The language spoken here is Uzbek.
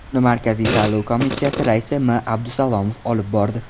Uni Markaziy saylov komissiyasi raisi M. Abdusalomov olib bordi.